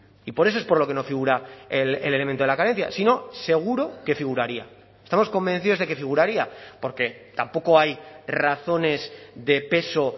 y por eso es por lo que no figura el elemento de la carencia si no seguro que figuraría estamos convencidos de que figuraría porque tampoco hay razones de peso